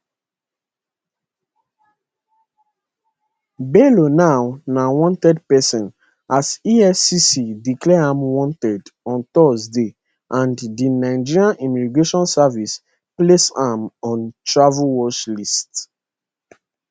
bello now na wanted person as efcc declare am wanted on thursday and di nigeria immigration service place am on travel watchlist